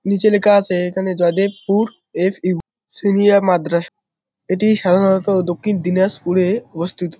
নিচে লেখা আছে এখানে জয়দেবপুর -এর ফিউ সিনিয়ার মাদ্রাস এটি সাধারণত দক্ষিণ দিনাজপুর -এ অবস্থিত।